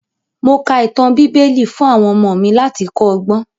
Mo ka ìtàn bíbẹ́lì fún àwọn ọmọ mi láti kọ́ ọgbọ́n.